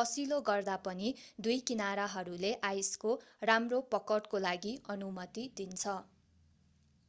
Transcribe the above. कसिलो गर्दा पनि दुई किनारहरूले आइसको राम्रो पकडको लागि अनुमति दिन्छ